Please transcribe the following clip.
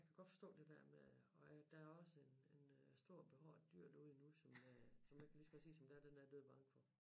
Jeg kan godt forstå det der med at og der er også en en øh stor behåret dyr derude nu som øh som jeg kan lige så godt sige som det er den er jeg dødbange for